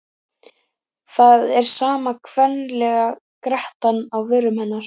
Það er sama kvenlega grettan á vörum hennar.